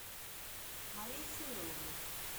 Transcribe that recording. мария семеновна